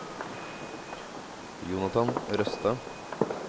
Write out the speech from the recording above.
Jonathan Røstad